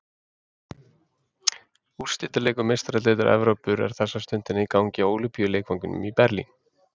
Úrslitaleikur Meistaradeildar Evrópu er þessa stundina í gangi á Ólympíuleikvangnum í Berlín.